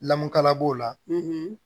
Lamukala b'o la